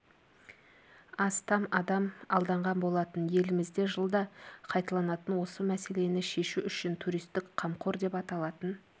астам адам алданған болатын елімізде жылда қайталанатын осы мәселені шешу үшін туристік қамқор деп аталатын